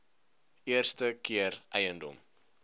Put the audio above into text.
eerste keer eiendom